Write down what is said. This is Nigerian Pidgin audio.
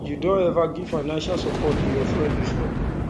you don ever give financial support to your friend before